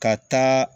Ka taa